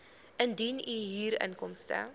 indien u huurinkomste